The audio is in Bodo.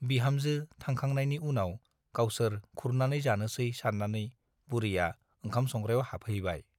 बिहामजो थांखांनायनि उनाव गावसोर खुरनानै जानोसै सान्नानै बुरैया ओंखाम संग्रायाव हाबहैबाय ।